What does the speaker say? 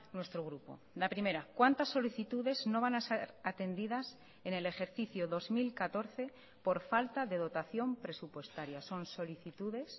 nuestro grupo la primera cuántas solicitudes no van a ser atendidas en el ejercicio dos mil catorce por falta de dotación presupuestaria son solicitudes